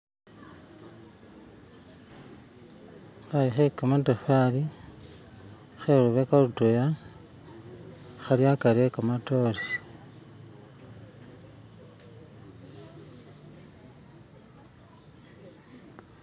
khayu khekamatafaali khelubeka lutwela khali akari e'kamatore